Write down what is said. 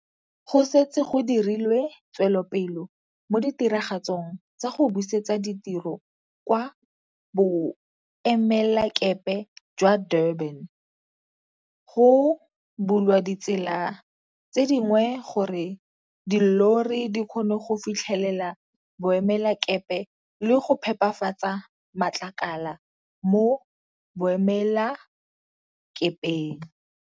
Go setse go dirilwe tswelopele mo ditiragatsong tsa go busetsa ditiro kwa Boemelakepe jwa Durban. Go bulwa ditsela tse dingwe gore dillori di kgone go fitlhelela boemelakepe le go phepafatsa matlakala mo boemelakepeng.